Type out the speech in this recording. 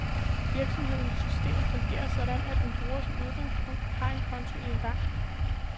Virksomhedens system fungerer sådan, at en bruger som udgangspunkt har en konto i en bank.